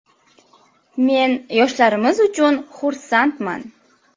Men yoshlarimiz uchun xursandman.